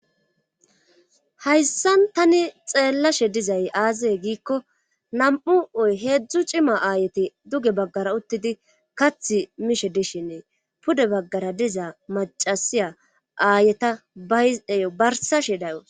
hayssan tani xeellashe dizay aazae giikko nam7u oy heedzdzu cima aayeti duge baggara uttidi kath mishe dishinee pude baggara dizaa macasiya aayeta bayey barsashe dayo